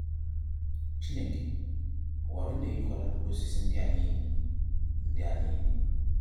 Chineke, ọ gwara ụnụ érikwala mkpụrụ osịsị ndị a niile?. ndị a niile?.